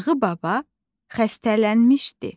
Nağı baba xəstələnmişdi.